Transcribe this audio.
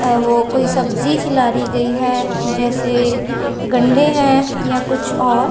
औ वो कोई सब्जी खीलारी गई है जैसे गंडे हैं या कुछ और--